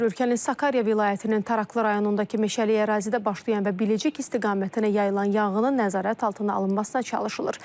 Ölkənin Sakarya vilayətinin Taraklı rayonundakı meşəlik ərazidə başlayan və Biləcik istiqamətinə yayılan yanğının nəzarət altına alınmasına çalışılır.